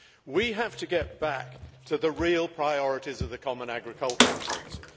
We have to get back to the real priorities of the common agricultural policy.